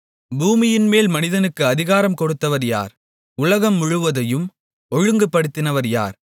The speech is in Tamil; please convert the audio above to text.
பூமியின்மேல் மனிதனுக்கு அதிகாரம் கொடுத்தவர் யார் உலகம் முழுவதையும் ஒழுங்குபடுத்தினவர் யார்